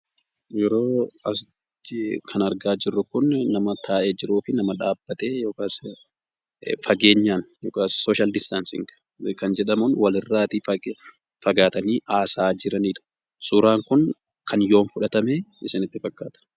Asitti kan argaa jirru kun ,nama taa'ee jiruu fi nama dhaabbatee yookaas fageenyaan yookaas 'Social Distancing' kan jedhamuun wal irraa fagaatanii haasa'aa jiraniidha. suuraan kun kan yoom fudhatame isinitti fakkaata?